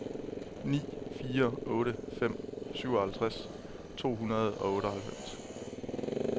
ni fire otte fem syvoghalvtreds to hundrede og otteoghalvfems